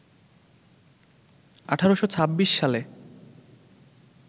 ১৮২৬ সালে